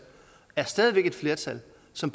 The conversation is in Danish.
som